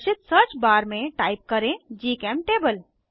प्रदर्शित search bar में type करें जीचेमटेबल